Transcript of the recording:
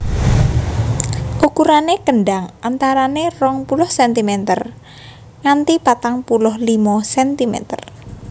Ukurané kendhang antarané rong puluh centimeter nganti patang puluh limo centimeter